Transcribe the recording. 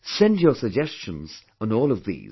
Send your suggestions on all of these